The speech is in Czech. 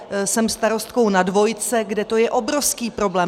Jsem starostkou na dvojce, kde to je obrovský problém.